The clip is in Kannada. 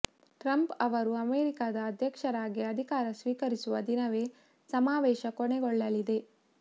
ಟ್ರಂಪ್ ಅವರು ಅಮೆರಿಕದ ಅಧ್ಯಕ್ಷರಾಗಿ ಅಧಿಕಾರ ಸ್ವೀಕರಿಸುವ ದಿನವೇ ಸಮಾವೇಶ ಕೊನೆಗೊಳ್ಳಲಿದೆ